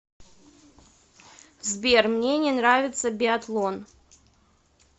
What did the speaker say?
сбер мне не нравится биатлон